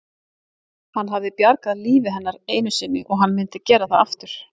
Hann hafði bjargað lífi hennar einu sinni og hann myndi gera það aftur.